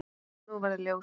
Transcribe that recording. Nú varð ljós.